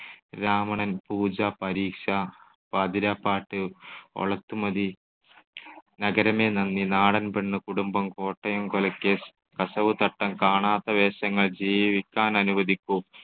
രാവണൻ, പൂജ, പരീക്ഷ, പാതിരാപ്പാട്ട്, ഒള്ളതുമതി, നഗരമേ നന്ദി, നാടൻപെണ്ണ്, കുടുംബം, കോട്ടയം കൊലക്കേസ്, കസവുതട്ടം, കാണാത്ത വേഷങ്ങൾ, ജീവിക്കാനനുവദിക്കൂ,